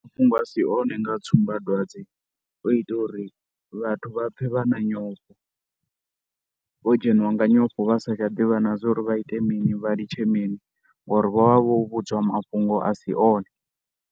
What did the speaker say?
Mafhungo a si one nga tsumbadwadze o itela uri vhathu vha pfhe vha na nyofho. Vho dzheniwa nga nyofho vha sa tsha ḓivha na zwa uri vha ite mini vha litshe mini ngori vho vha vho vhudzwa mafhungo a si one.